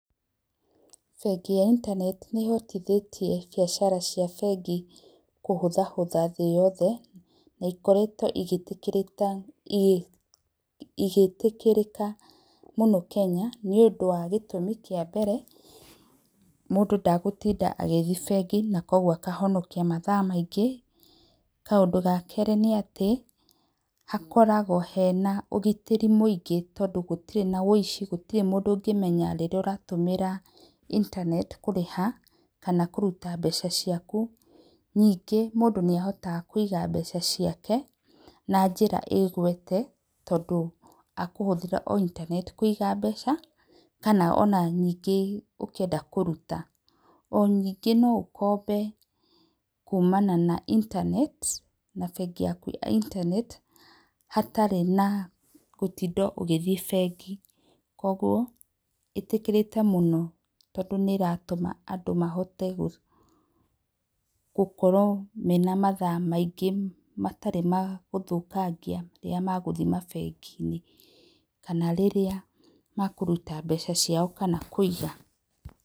Bengi ya intaneti nĩ hotithĩtie biacara cia bengi kũhũthahũtha thĩ na cikoretwo igĩtĩkĩrĩka mũno Kenya nĩ ũndũ wa gĩtumi kĩa mbere; mũndũ ndagũtinda agĩthiĩ bengi na kwoguo akahonokia mathaa maingĩ, kaũndũ ga kerĩ nĩ atĩ hakoragwo na ũgitĩri mũingĩ tondũ hatirĩ na woici, hatirĩ mũndũ ũngĩmenya rĩrĩa ũrarĩha intaneti kũrĩha kana kũruta mbeca ciaku ningĩ mũndũ nĩ ahotaga kũiga mbeca ciake na njĩra ĩgwĩte tondũ akũhũthĩra o intaneti kũiga mbeca ona kana ningĩ ũkĩenda kũruta, o ningĩ no ũkombe kumana na intaneti na bengi yaku ya inteneti hatarĩ na gũtinda ũgĩthiĩ bengi kwoguo, ĩtĩkĩrĩkĩte mũno tondũ nĩ ratũma andũ mahote gũkorwo mena mathaa maingĩ matarĩ ma gũthũkangia rĩrĩa magũthiĩ mabengi-inĩ kana rĩrĩa makũruta mbeca ciao kana kũiga.